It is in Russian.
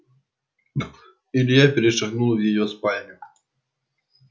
илья перешагнул в её спальню